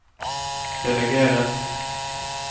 delegeres